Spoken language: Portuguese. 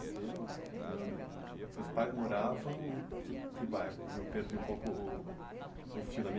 E quando você nasceu, seus pais moravam em que bairro? Eu perdi um pouco o o fio da...